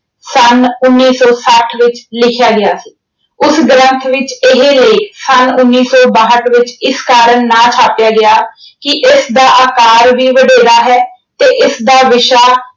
ਸੰਨ ਉਨੀ ਸੌ ਸੱਠ ਵਿੱਚ ਲਿਖਿਆ ਗਿਆ ਸੀ। ਉਸ ਗ੍ਰੰਥ ਵਿੱਚ ਇਹ ਲੇਖ ਸੰਨ ਉਨੀ ਸੌ ਬਾਹਟ ਵਿੱਚ ਇਸ ਕਾਰਨ ਨਾ ਛਾਪਿਆ ਗਿਆ ਕਿ ਇਸਦਾ ਆਕਾਰ ਵੀ ਵਡੇਰਾ ਹੈ ਤੇ ਇਸਦਾ ਵਿਸ਼ਾ